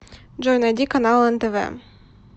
джой найди каналы нтв